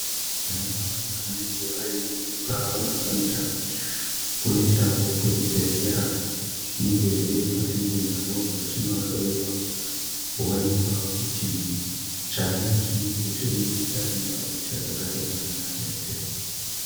Vanamai vanenge vane mimba vanofanira kuendavo kuzvibhedhlera zvinenge zviri pasinde navo vachinohloiwa. Kuonekwa kuti chana chinenge chiri mundani mwavo chakagara zvakanaka ere.